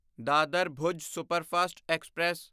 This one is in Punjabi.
Dadar Bhuj superfast express